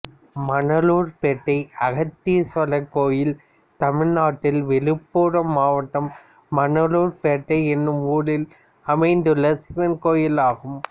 மணலூர்பேட்டை அகஸ்தீஸ்வரர் கோயில் தமிழ்நாட்டில் விழுப்புரம் மாவட்டம் மணலூர்பேட்டை என்னும் ஊரில் அமைந்துள்ள சிவன் கோயிலாகும்